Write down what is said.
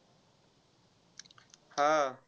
हा.